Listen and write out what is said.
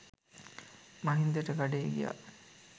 මහින්දට කඩේ ගියා